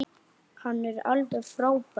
Hann er alveg frábær!